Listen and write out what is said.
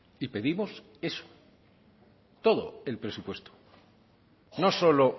y pedimos eso todo el presupuesto no solo